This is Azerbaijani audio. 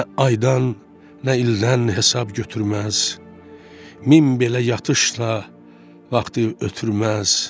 Nə aydan, nə ildən hesab götürməz, min belə yatışda vaxtı ötürməz.